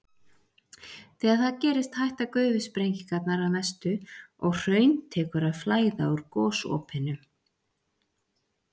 Þegar það gerist hætta gufusprengingarnar að mestu og hraun tekur að flæða úr gosopinu.